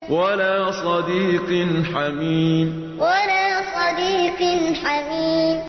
وَلَا صَدِيقٍ حَمِيمٍ وَلَا صَدِيقٍ حَمِيمٍ